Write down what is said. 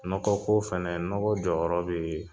Nɔgɔ ko fɛnɛ, nɔgɔ jɔyɔrɔ bɛ yen.